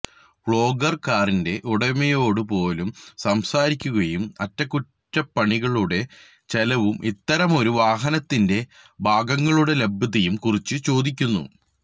vlogger കാറിന്റെ ഉടമയോട് പോലും സംസാരിക്കുകയും അറ്റകുറ്റപ്പണികളുടെ ചെലവും ഇത്തരമൊരു വാഹനത്തിന്റെ ഭാഗങ്ങളുടെ ലഭ്യതയും കുറിച്ച് ചോദിക്കുന്നു